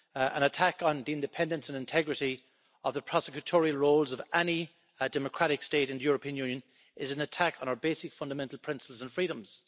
An attack on the independence and integrity of the prosecutorial roles of any democratic state in the European Union is an attack on our basic fundamental principles and freedoms.